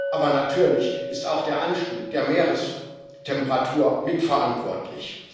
Aber natürlich ist auch der Anstieg der Meerestemperatur mitverantwortlich.